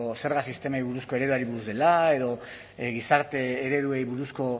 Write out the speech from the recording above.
zerga sistemari buruzko ereduari buruz dela edo gizarte ereduei buruzko